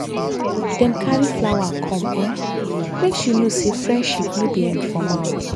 dem carry flower come um make she know say friendship no be um for mouth.